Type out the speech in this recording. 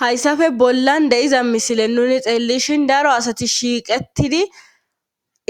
hayssafe bollan deiza misile nuni xeellishin daro asati shiiqettidi